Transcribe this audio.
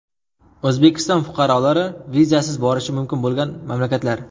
O‘zbekiston fuqarolari vizasiz borishi mumkin bo‘lgan mamlakatlar.